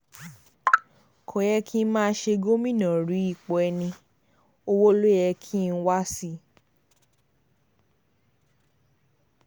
kódà kí n má ṣe gómìnà rí ipò ẹni-ọwọ́ ló yẹ kí n wá sí i